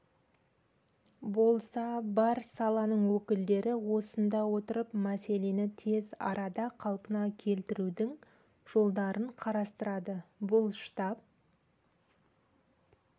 болса бар саланың өкілдері осында отырып мәселені тез арада қалпына келтірудің жолдарын қарастырады бұл штаб